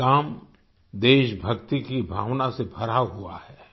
ये काम देशभक्ति की भावना से भरा हुआ है